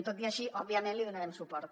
tot i així òbviament li donarem suport